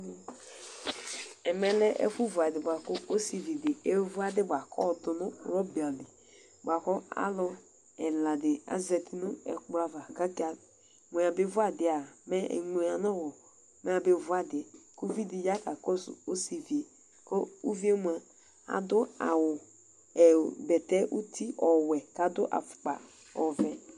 Ɛmɛlɛ ɛfɛ vʋ adidi bʋakʋ ɔsividi evʋ adi bʋakʋ ayɔdʋ nʋ rɔbali bʋakʋ alʋ ɛladi azati nʋ ikpokʋ ava kʋ aka mʋ ɛyabe vʋ adi yɛ mɛ eŋlo yanʋ ɔwɔ mɛ abevu adi yɛ ʋvidi ya kakɔsʋ osivi yɛ kʋ adʋ ʋvi yɛ adʋ awʋ bɛtɛ nʋ uti ɔwɛ nʋ afʋkpa ɔvɛ